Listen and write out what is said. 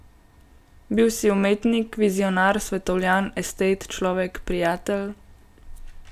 Bil si umetnik, vizionar, svetovljan, estet, človek, prijatelj ...